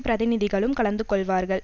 பிரதிநிதிகளும் கலந்து கொள்வார்கள்